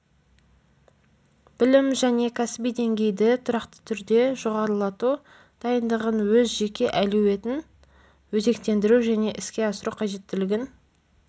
білім және кәсіби деңгейді тұрақты түрде жоғарылату дайындығын өз жеке әлеуетін өзектендіру және іске асыру қажеттілігін